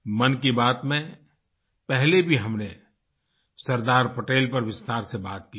मन की बात में पहले भी हमने सरदार पटेल पर विस्तार से बात की है